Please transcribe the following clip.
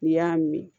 N'i y'a min